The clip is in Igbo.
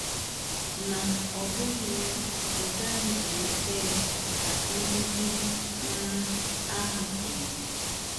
“ Ma ọ bụghị ya, ị gaghị emeta ya, ” ka ndị di um ahụ kwuru.